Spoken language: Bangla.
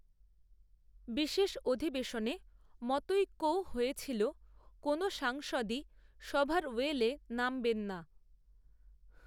বিশেষঅধিবেশনে মতৈক্যও হয়েছিল কোনও সাংসদই সভার ওয়েলে নামবেন না